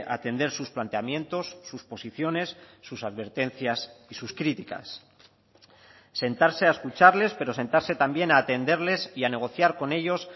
atender sus planteamientos sus posiciones sus advertencias y sus críticas sentarse a escucharles pero sentarse también a atenderles y a negociar con ellos